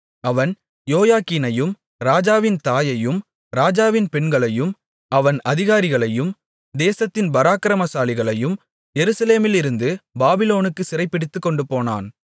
அவன் யோயாக்கீனையும் ராஜாவின் தாயையும் ராஜாவின் பெண்களையும் அவன் அதிகாரிகளையும் தேசத்தின் பராக்கிரமசாலிகளையும் எருசலேமிலிருந்து பாபிலோனுக்குச் சிறைபிடித்துக் கொண்டுபோனான்